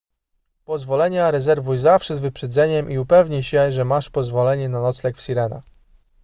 pozwolenia rezerwuj zawsze z wyprzedzeniem i upewnij się że masz pozwolenie na nocleg w sirena